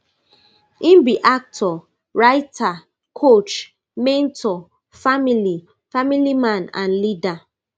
im be actor writer coach mentor family family man and leader